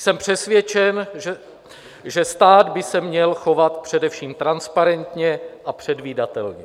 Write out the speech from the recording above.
Jsem přesvědčen, že stát by se měl chovat především transparentně a předvídatelně.